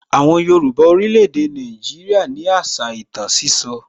Àwọn Yorùbá orílè èdè Nàìjíríà ní àṣà ìtàn sísọ